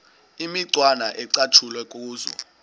imicwana ecatshulwe kuzo